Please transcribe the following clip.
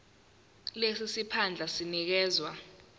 lesi siphandla sinikezwa